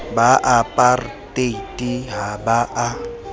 ba apartheid ha ba a